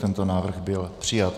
Tento návrh byl přijat.